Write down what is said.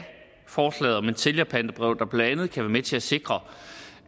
forslag om et sælgerpantebrev der blandt andet kan være med til at sikre